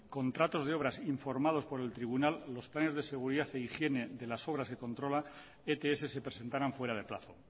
contratos de obras informados por el tribunal los planes de seguridad e higiene de las obras que controla ets se presentaran fuera de plazo